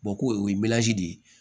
ko o ye de ye